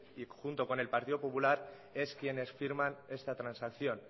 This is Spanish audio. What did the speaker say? ni junto con el partido popular es quienes firman esta transacción